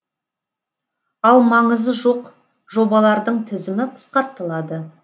ал маңызы жоқ жобалардың тізімі қысқартылады